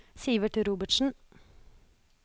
Sivert Robertsen